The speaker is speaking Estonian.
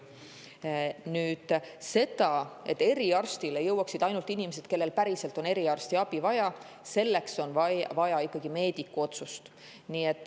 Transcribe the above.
Selleks, et eriarsti juurde jõuaksid ainult inimesed, kellel on päriselt eriarstiabi vaja, on vaja meediku otsust.